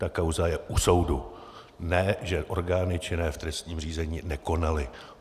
Ta kauza je u soudu, ne že orgány činné v trestním řízení nekonaly.